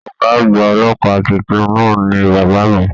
Ọgá àgbà ọlọ́pàá títún náà ní bàbá mí.